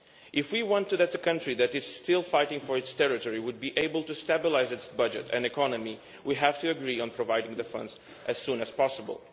If we want the country, which is still fighting for its territory, to be able to stabilise its budget and economy, we have to agree on providing the funds as soon as possible.